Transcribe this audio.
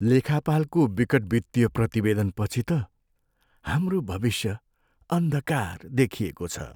लेखापालको विकट वित्तीय प्रतिवेदनपछि त हाम्रो भविष्य अन्धकार देखिएको छ।